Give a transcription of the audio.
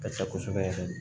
Ka ca kosɛbɛ yɛrɛ de